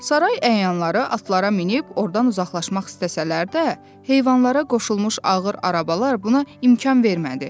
Saray əyanları atlara minib ordan uzaqlaşmaq istəsələr də, heyvanlara qoşulmuş ağır arabalar buna imkan vermədi.